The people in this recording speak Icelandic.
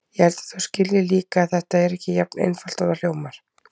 Ég held að þú skiljir líka að þetta er ekki jafn einfalt og það hljómar.